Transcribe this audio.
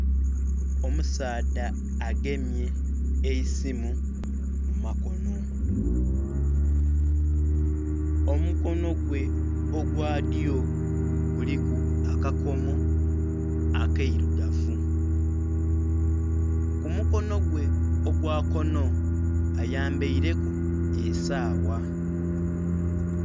Omusaadha agemye eisimu mumakono, omukono gwe ogwadyo guliku akakomo akairugavu, ku mukono gwe ogwakono ayambaireku esaawa.